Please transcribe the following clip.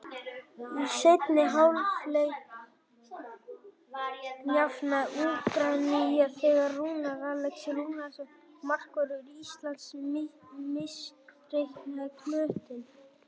Í seinni hálfleik jafnaði Úkraína þegar Rúnar Alex Rúnarsson, markvörður Íslands, misreiknaði knöttinn.